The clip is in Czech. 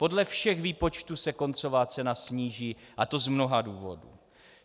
Podle všech výpočtů se koncová cena sníží, a to z mnoha důvodů.